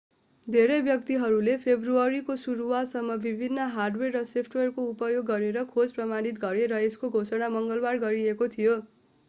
धेरै व्यक्तिहरूले फेब्रुअरीको सुरुवातसम्म विभिन्न हार्डवेयर र सफ्टवेयरको उपयोग गरेर खोज प्रमाणित गरे र यसको घोषणा मङ्गलबार गरिएको थियो